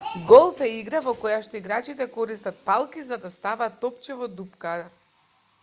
голф е игра во којашто играчите користат палки за да стават топче во дупка